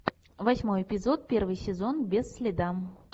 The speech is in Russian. восьмой эпизод первый сезон без следа